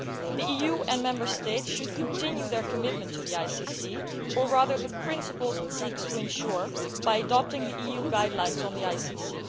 The EU and Member States should continue their commitment to the ICC, or the principles it seeks to ensure, by adopting the EU guidelines on the ICC.